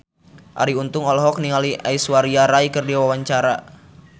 Arie Untung olohok ningali Aishwarya Rai keur diwawancara